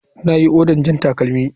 Na yi oda jan takalmi.